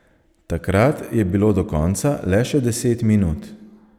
Takrat je bilo do konca le še deset minut.